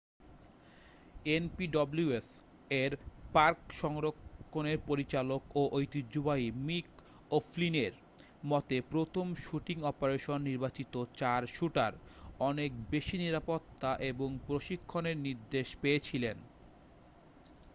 npws-এর park সংরক্ষণের পরিচালক ও ঐতিহ্যবাহী মিক ওফ্লিনের মতে প্রথম শুটিং অপারেশনে নির্বাচিত চার শ্যুটার অনেক বেশি নিরাপত্তা এবং প্রশিক্ষণের নির্দেশ পেয়েছিলেন।